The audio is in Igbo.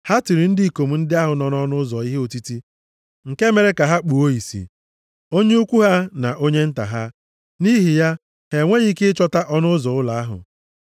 Ha tiri ndị ikom ndị ahụ nọ nʼọnụ ụzọ ihe otiti nke mere ka ha kpụọ ìsì, onye ukwu ha na onye nta ha. Nʼihi ya, ha enweghị ike ịchọta ọnụ ụzọ ụlọ ahụ.